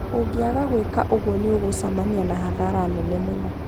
Ũngĩaga gwĩka ũguo nĩ ũgucemania na hathara nene mũno.